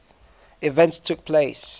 events took place